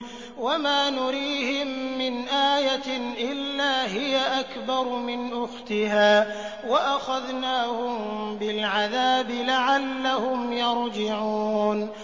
وَمَا نُرِيهِم مِّنْ آيَةٍ إِلَّا هِيَ أَكْبَرُ مِنْ أُخْتِهَا ۖ وَأَخَذْنَاهُم بِالْعَذَابِ لَعَلَّهُمْ يَرْجِعُونَ